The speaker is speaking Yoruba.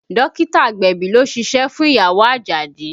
Dókítà agbẹ̀bí ló ṣíṣe fún ìyàwó Àjàdí